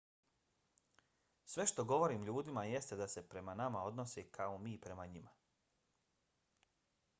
sve što govorim ljudima jeste da se prema nama odnose kao mi prema njima